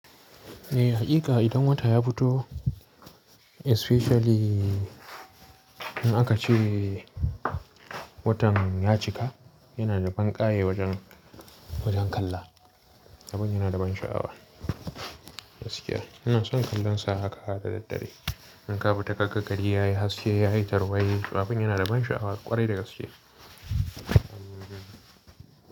Eh, hakika idan wata ya fito especially in aka ce watan ya cika, yana da banƙaye wajen, wajen kalla. Sabon yana da ban sha'awa gaskiya. Ina son kallon sa haka har ɗa ɗa ɗare. In ka fita kaga gari yayi haske, yayi tarwaɗe, sabon yana da ban sha'awa kwarai da gaskiya.